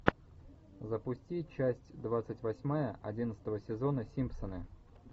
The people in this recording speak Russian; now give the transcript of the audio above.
запусти часть двадцать восьмая одиннадцатого сезона симпсоны